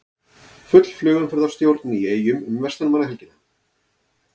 Full flugumferðarstjórn í Eyjum um verslunarmannahelgina